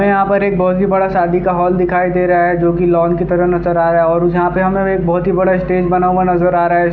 यहाँ पर एक बहोत ही बड़ा एक शादी का हॉल दिखाई दे रहा है जो की लाउन्ज के तरह नजर आ रहा है और यहाँ पे हमें एक बहोत ही बड़ा स्टेज बना हुआ नजर आ रहा है।